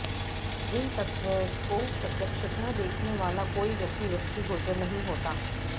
इन तत्त्वों को प्रत्यक्षतः देखने वाला कोई व्यक्ति दृष्टिगोचर नहीं होता